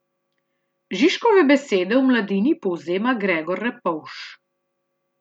Žižkove besede v Mladini povzema Gregor Repovž.